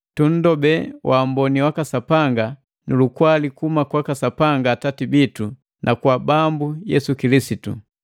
Tunndobee waamboni waka Sapanga nu lukwali kuhuma kwaka Sapanga Atati bitu na kwaka Bambu Yesu Kilisitu.